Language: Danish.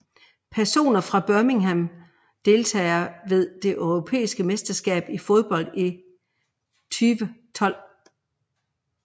Personer fra Birmingham Deltagere ved det europæiske mesterskab i fodbold 2012